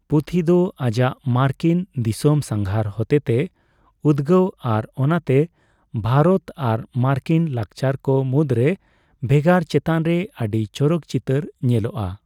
ᱯᱩᱛᱷᱤ ᱫᱚ ᱟᱡᱟᱜ ᱢᱟᱨᱠᱤᱱ ᱫᱤᱥᱟᱹᱢ ᱥᱟᱜᱷᱟᱨ ᱦᱚᱛᱮ ᱛᱮᱭ ᱩᱫᱜᱟᱹᱣ ᱟᱨ ᱚᱱᱟᱛᱮ ᱵᱷᱟᱨᱛ ᱟᱨ ᱢᱟᱨᱠᱤᱱ ᱞᱟᱠᱪᱟᱨ ᱠᱚ ᱢᱩᱫᱨᱮ ᱵᱷᱮᱜᱟᱨ ᱪᱮᱛᱟᱱ ᱨᱮ ᱟᱹᱰᱤ ᱪᱚᱨᱚᱠ ᱪᱤᱛᱟᱹᱨ ᱧᱮᱞᱚᱜᱼᱟ ᱾